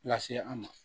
Lase an ma